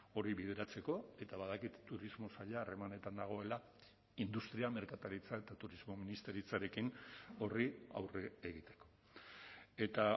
hori bideratzeko eta badakit turismo saila harremanetan dagoela industria merkataritza eta turismo ministeritzarekin horri aurre egiteko eta